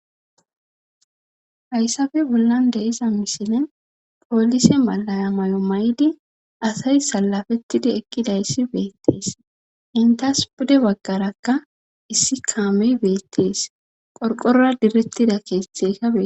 haysape bollan de7iza misilen polise malaya maayuwa mayidi asay sallapettidi eqqidayssi beettes;entas pude baggaraka issi kaamee beettes;qorqorora direttida keetheykka beettes.